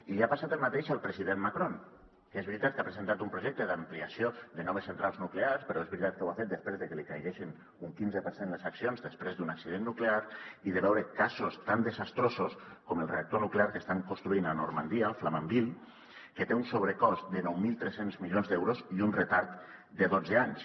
i li ha passat el mateix al president macron que és veritat que ha presentat un projecte d’ampliació de noves centrals nuclears però és veritat que ho ha fet després de que li caiguessin un quinze per cent les accions després d’un accident nuclear i de veure casos tan desastrosos com el reactor nuclear que estan construint a normandia a flamanville que té un sobrecost de nou mil tres cents milions d’euros i un retard de dotze anys